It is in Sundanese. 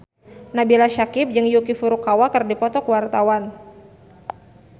Nabila Syakieb jeung Yuki Furukawa keur dipoto ku wartawan